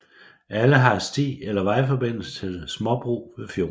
Alle har sti eller vejforbindelse til småbrug ved fjorden